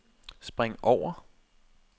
spring over